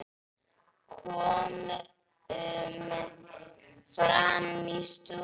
Komum fram í stofu.